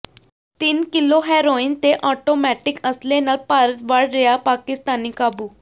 ਤਿੰਨ ਕਿੱਲੋ ਹੈਰੋਇਨ ਤੇ ਆਟੋਮੈਟਿਕ ਅਸਲੇ ਨਾਲ ਭਾਰਤ ਵੜ ਰਿਹਾ ਪਾਕਿਸਤਾਨੀ ਕਾਬੂ